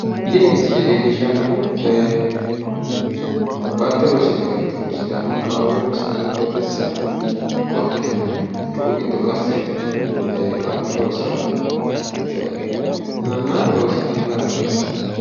Tini misile leellishshannohu baatto loosidhe galtino sidaamu akkawaawera woy qooxxeesira qottote yianniha cu"u giddo qasse baatto loosiranna loosidhanno gara xawissanno.